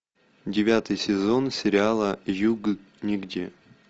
девятый сезон сериала юг нигде